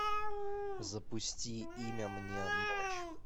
запусти имя мне ночь